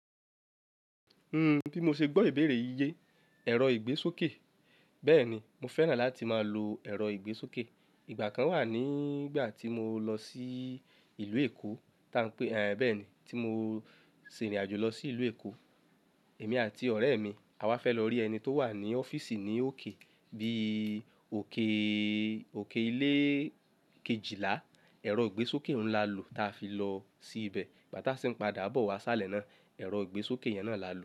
Bí mo ṣe gbọ́ ìbéèrè yí ye, ẹ̀rọ ìgbésókè. Bẹ́ẹ̀ni, mo fẹ́ràn láti máa lo ẹ̀rọ ìgbésókè. Ìgbà kan wà nígbà tí mo lọ sí ìlú Èkó, tá ń pé, bẹ́ẹ̀ni, tí mo ṣe ìrìnàjò lọ sí ìlú Èkó, èmi àti ọ̀rẹ́ mi, àwa fẹ́ lọ rí ẹni tó wà ní ọ́fíìsì ní òkè bíi òkè, òkè ilé kejìlá, ẹ̀rọ ìgbésókè oun lá lò táa fi lọ sí ibẹ̀. Igba ta sì ń padà bọ̀ wá si isálẹ̀ náà, ẹ̀rọ ìgbésókè yẹn náà la lò.